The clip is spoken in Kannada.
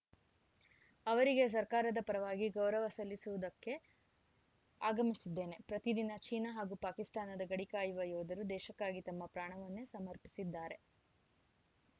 ಅವರಿಗೆ ಸರ್ಕಾರದ ಪರವಾಗಿ ಗೌರವ ಸಲ್ಲಿಸುವುದಕ್ಕೆ ಆಗಮಿಸಿದ್ದೇನೆ ಪ್ರತಿದಿನ ಚೀನಾ ಹಾಗೂ ಪಾಕಿಸ್ತಾನದ ಗಡಿ ಕಾಯುವ ಯೋಧರು ದೇಶಕ್ಕಾಗಿ ತಮ್ಮ ಪ್ರಾಣವನ್ನೇ ಸಮರ್ಪಿಸಿದ್ದಾರೆ